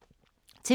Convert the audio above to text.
TV 2